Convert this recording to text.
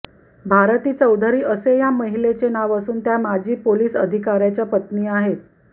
भारती चौधरी असे या महिलेचे नाव असून त्या माजी पोलीस अधिकाऱ्याच्या पत्नी आहेत